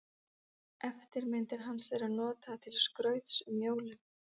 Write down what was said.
Eftirmyndir hans eru notaðar til skrauts um jólin.